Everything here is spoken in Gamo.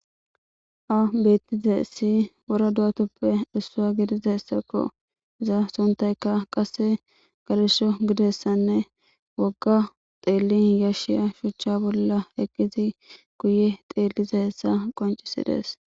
Ba beetizays wora do'atappe issuwa gidizaysako. Iza sunthayka qasse gelesho gidizayssanne wogga xeellin yashshiya shuchcha bolla eqqidi guye xeellizaysa qoncisidees.